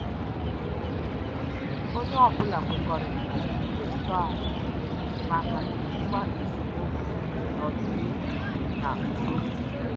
Onye ọbụla kwekọritara na iwu ntọala maka ijikwa esemokwu n'ọdịnihu n' udo.